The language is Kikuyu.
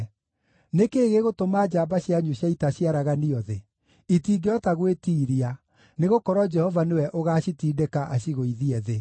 Nĩ kĩĩ gĩgũtũma njamba cianyu cia ita ciaraganio thĩ? Itingĩhota gwĩtiiria, nĩgũkorwo Jehova nĩwe ũgaacitindĩka acigũithie thĩ.